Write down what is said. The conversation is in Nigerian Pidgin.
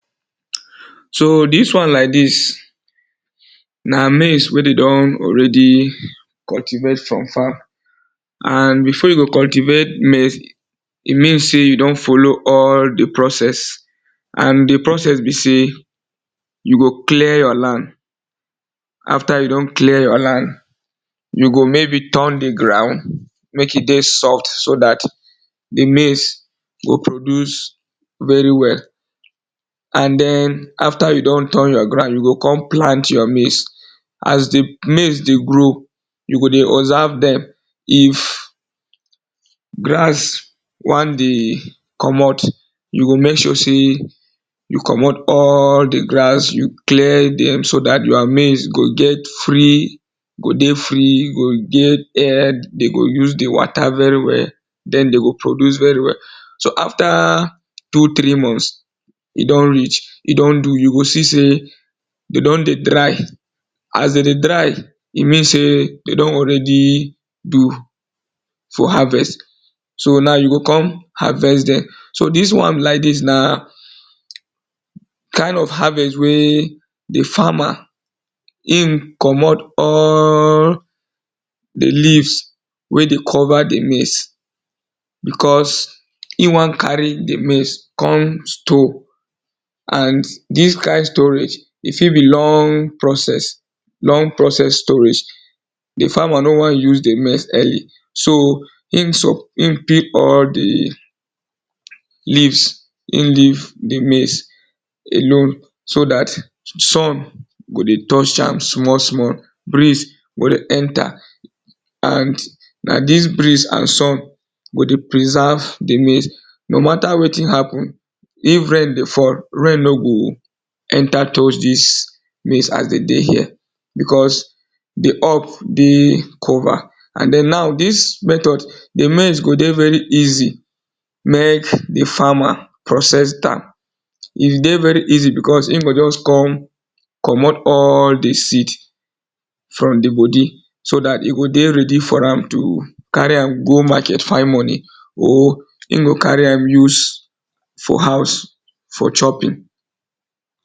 So dis wan like dis na maize wey de don allredy cultivate for farm and before you go cultivate maize, e mean sey you don follow all di proess and di process be sey you go clear you land after you don clear your land, you go maybe turn di ground mek e dey soft so dat di maize go produce very well. And den after you don turn you ground, you o kon plant your maize. As di maize dey grow, you go dy observe dem if grass wan dey commot, youmek sure sey you commot all di grass, you clear dem so dat your maize go get free go dey free, you go use di water very well den de go produce vry well. So after two three month e don do so you go see sey de don dey dry, as de dey dry, e mean sey de dom already do for harvest so you o kon harvest dem. So dis wan like dis na kind of harvest wey di farmer him commot all di leaves wey de cover di maize because e won carry di maize come to and dis kind storage e fit be long process long procecss storage di farmer no wan use dem so e pay all di maize, e leave di maize alone so dat some go dey touch am small small, breeze go dey enter and dis breeze and sun go dey poreserve di maize, no mata wetin happen, if rain dey fall, rain nor go enter through dis place as de dey here because di up dey cover and den now dis method di maize go dey very easy mek di farmer process am, e dey very esy because e go just come commot all di seeds from di bodi so dat e go dey ready for ram to carry am go market find money, e go carry am use for house, for chopping.